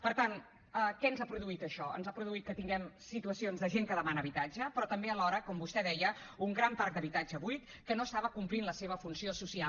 per tant què ens ha produït això ens ha produït que tinguem situacions de gent que demana habitatge però també alhora com vostè deia un gran parc d’habitatge buit que no estava complint la seva funció social